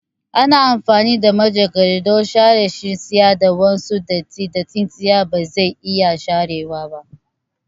Ana amfani da manjagara don share shiyayi da wasu dattin da tsintsiya bazai iya sharewa ba